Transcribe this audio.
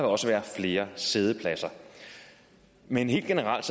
også være flere siddepladser men helt generelt